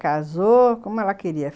Casou, como ela queria.